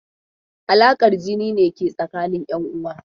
Alaƙar jini ne ke tsakanin 'yanuwa.